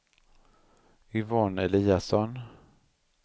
Yvonne Eliasson